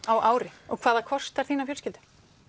á ári og hvað það kostar þína fjölskyldu